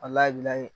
A labilali